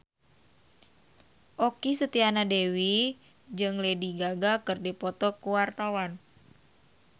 Okky Setiana Dewi jeung Lady Gaga keur dipoto ku wartawan